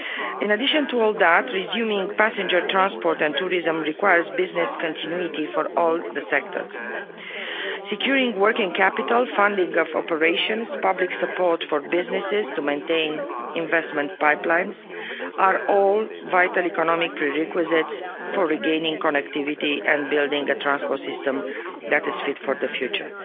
In addition to all that, resuming passenger transport and tourism requires business continuity for all the sectors. Securing working capital, funding of operations, public support for businesses to maintain investment pipelines are all vital economic prerequisites for regaining connectivity and building a transport system that is fit for the future.